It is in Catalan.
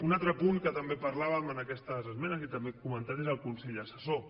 un altre punt de què també parlàvem en aquestes esmenes i també hem comentat és el consell assessor